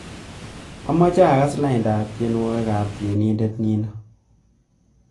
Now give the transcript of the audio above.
Amache agas laindab tyenwogikab tyenindet nino